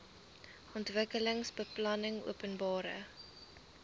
ontwikkelingsbeplanningopenbare